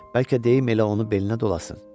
Bəlkə deyim elə onu belinə dolasın.